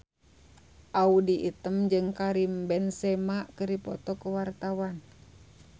Audy Item jeung Karim Benzema keur dipoto ku wartawan